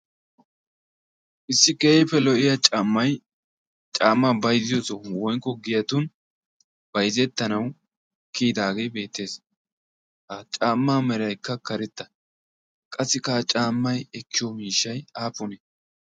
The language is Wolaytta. Issi keehippe lo''iya caamay, caama bayzziyo sohuwan woykko giyatun bayzzetanaw kiyidaage beettees. qassi caamaa meraykka karetta. qassikka ha caamaa miishshay aappune?